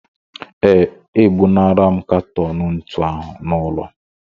Ee, ebunara m katọn ntu ahụ n'ụlọ